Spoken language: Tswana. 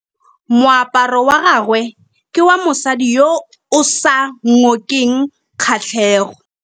Moaparô wa gagwe ke wa mosadi yo o sa ngôkeng kgatlhegô.